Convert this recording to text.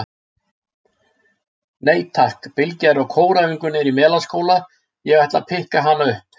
Nei takk, Bylgja er á kóræfingu niðri í Melaskóla, ég ætla að pikka hana upp.